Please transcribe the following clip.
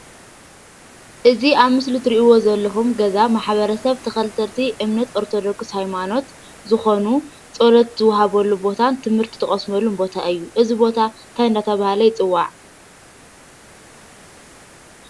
እዙይ ኣብ ምስሊ እትርእይዎ ዘለኩም ገዛ ማሕበረሰብ ተከተልቲ እምነት ኦርቶዶክስ ሃይማኖት ዝኮኑ ፀሎት ዝውሃበሉ ቦታን ትምህርቲ ትቀስመሉን ቦታ እዩ። እዙይ ቦታ እንታይ እናተባህለ ይፅዋዕ?